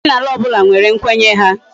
Omenala obula nwere nkwenye ha